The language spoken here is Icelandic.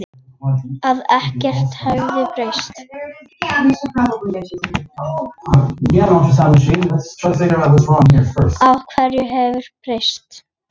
Að ekkert hefði breyst.